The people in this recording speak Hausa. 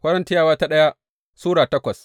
daya Korintiyawa Sura takwas